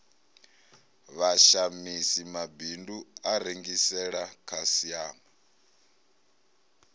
vhashamisi mabindu a rengisela khasiama